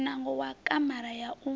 muṋango wa kamara ya u